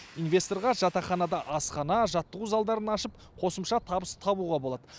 инвесторға жатақханада асхана жаттығу залдарын ашып қосымша табыс табуға болады